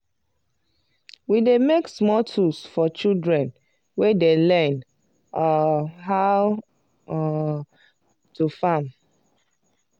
we dey make small tools for children wey dey learn um how um to farm.